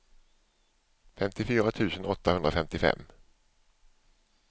femtiofyra tusen åttahundrafemtiofem